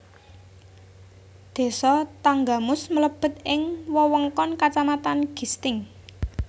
Désa Tanggamus mlebet ing wewengkon kacamatan Gisting